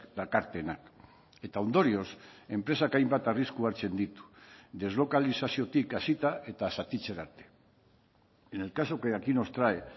dakartenak eta ondorioz enpresak hainbat arrisku hartzen ditu deslokalizaziotik hasita eta zatitzera arte en el caso que aquí nos trae